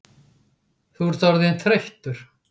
Þú ert orðinn þreyttur